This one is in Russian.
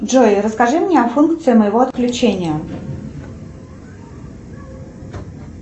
джой расскажи мне о функции моего отключения